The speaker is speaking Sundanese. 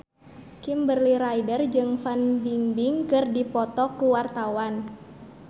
Kimberly Ryder jeung Fan Bingbing keur dipoto ku wartawan